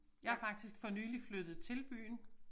Jeg faktisk for nyligt flyttet til byen